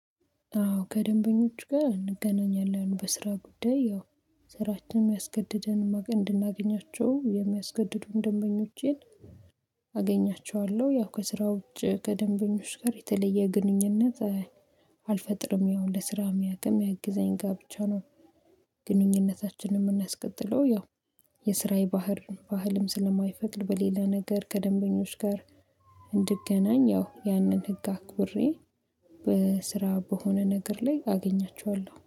አዎ ከደንበኞች ጋር እንገናኛለን። በስራ ጉዳይ ያው ስራችንም ያስገደደን እንድናገኛቸው የሚያስገድዱን ደንበኞቼን አገኛቸዋለሁ። ያው ከስራ ውጭ ከደንበኞች ጋር የተለየ ግንኙነት አልፈጥርም። ያው ለስራ የሚያውቅ የሚያግዘኝ ጋር ብቻ ነው ግንኙነታ የምናስቀጥለው። ያው የስራዬ ባህር ባህልም ስለማይፈቅድ በሌላ ነገር ከደንበኞች ጋር እንድገናኝ፤ ያው ያንን ህግ አክብሬ በስራ በሆነ ነገር ላይ አገኛቸዋለሁ።